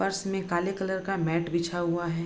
फर्श में काले कलर का मैट बिछा हुआ है।